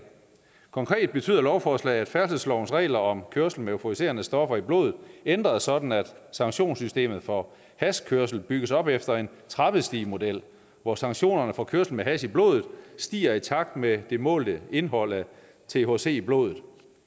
konkret betyder lovforslaget nemlig at færdselslovens regler om kørsel med euforiserende stoffer i blodet ændres sådan at sanktionssystemet for hashkørsel bygges op efter en trappestigemodel hvor sanktionerne for kørsel med hash i blodet stiger i takt med det målte indhold af thc i blodet